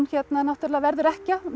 náttúrulega verður ekkja